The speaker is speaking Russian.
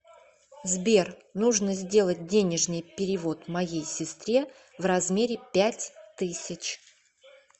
сбер нужно сделать денежный перевод моей сестре в размере пять тысяч